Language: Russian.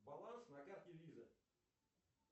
баланс на карте виза